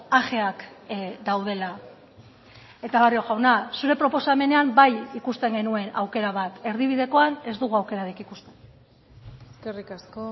ajeak daudela eta barrio jauna zure proposamenean bai ikusten genuen aukera bat erdibidekoan ez dugu aukerarik ikusten eskerrik asko